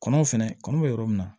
Kɔnɔ fɛnɛ kɔnɔ bɛ yɔrɔ min na